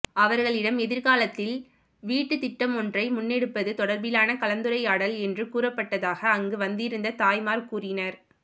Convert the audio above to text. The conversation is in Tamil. அவர்களிடம் எதிர்காலத்தில் வீட்டுத் திட்டமொன்றை முன்னெடுப்பது தொடர்பிலான கலந்துரையாடல் என்று கூறப்பட்டதாக அங்கு வந்திருந்த தாய்மார் கூறினர்